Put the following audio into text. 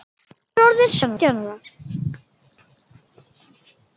Hún orðin sautján ára.